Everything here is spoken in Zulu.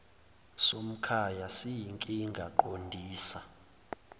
somkhaya siyinkinga qondisa